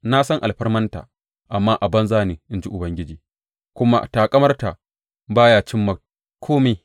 Na san alfarmanta amma a banza ne, in ji Ubangiji, kuma taƙamarta ba ya cimma kome.